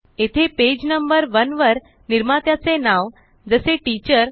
येथे page number one वर निर्मात्याचे नाव जसे टीचर